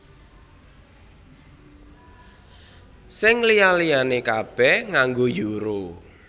Sing liya liyané kabèh nganggo Euro